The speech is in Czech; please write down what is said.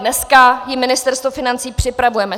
Dneska ji Ministerstvo financí připravuje.